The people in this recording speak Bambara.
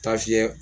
Taa fiyɛ